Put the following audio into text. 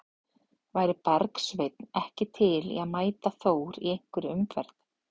Væri Bergsveinn ekki til í að mæta Þór í hverri umferð?